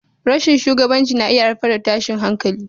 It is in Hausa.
Rashin shugabanci na iya haifar da tashin hankali.